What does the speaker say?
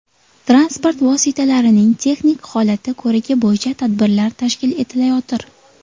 Transport vositalarining texnik holati ko‘rigi bo‘yicha tadbirlar tashkil etilayotir.